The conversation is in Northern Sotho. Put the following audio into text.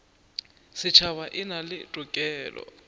setšhaba e na le tokelo